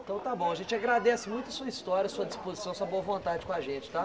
Então tá bom, a gente agradece muito sua história, sua disposição, sua boa vontade com a gente, tá?